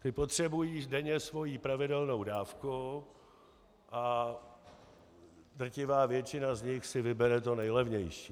Ti potřebují denně svoji pravidelnou dávku a drtivá většina z nich si vybere to nejlevnější.